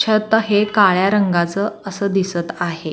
छत हे काळ्या रंगाचं असं दिसत आहे.